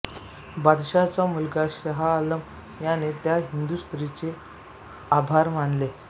बादशहाचा मुलगा शहाआलम याने त्या हिंदू स्त्रीचे आभार मानले